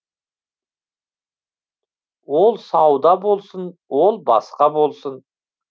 ол сауда болсын ол басқа болсын